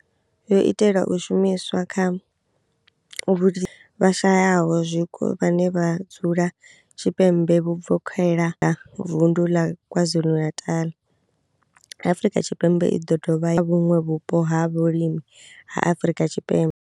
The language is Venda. Yo itelwa u shumiswa kha vhashayaho zwiko vhane vha dzula Tshipembe vhuvokhela Vundu ḽa KwaZulu-Natal, Afrika Tshipembe i do dovha ya vhuṅwe vhupo ha vhulimi ha Afrika Tshipembe.